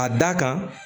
A da kan